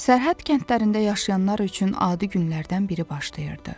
Sərhəd kəndlərində yaşayanlar üçün adi günlərdən biri başlayırdı.